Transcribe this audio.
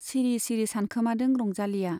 सिरि सिरि सानखोमादों रंजालीया।